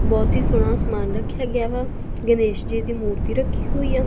ਬਹੁਤ ਹੀ ਸੋਹਣਾ ਸਮਾਨ ਰੱਖਿਆ ਗਿਆ ਵਾ ਗਣੇਸ਼ ਜੀ ਦੀ ਮੂਰਤੀ ਰੱਖੀ ਹੋਈ ਆ।